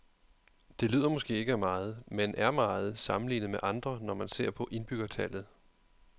Det lyder måske ikke af meget, men er meget, sammenlignet med andre, når man ser på indbyggertallet.